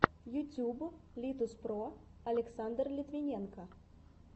ютуб литуспро александр литвиненко